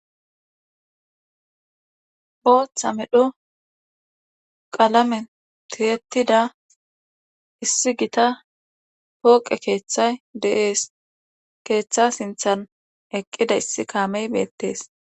booththa medho qalamen tiyetida issi gita pooqe keeththay de7ees keeththa sinthan eqqida issi kaamey beettees